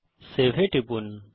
save এ টিপুন